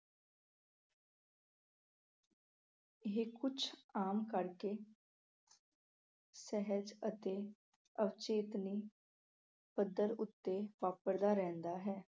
ਇਹ ਕੁਛ ਆਮ ਕਰਕੇ ਸਹਿਜ ਅਤੇ ਅਵਚੇਤਨੀ ਪੱਧਰ ਉੱਤੇ ਵਾਪਰਦਾ ਰਹਿੰਦਾ ਹੈ।